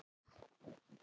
Gamalt hræ.